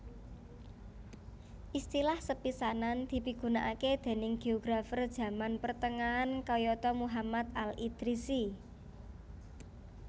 Istilah sepisanan dipigunakaké déning géografer jaman pertengahan kayata Muhammad al Idrisi